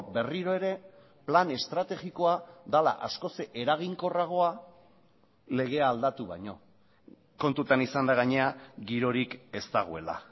berriro ere plan estrategikoa dela askoz eraginkorragoa legea aldatu baino kontutan izan da gainera girorik ez dagoela